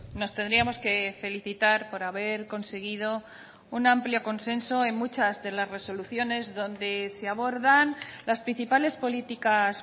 nos tendríamos que felicitar por haber conseguido un amplio consenso en muchas de las resoluciones donde se abordan las principales políticas